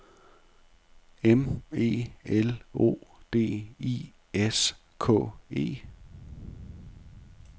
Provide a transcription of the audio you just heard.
M E L O D I S K E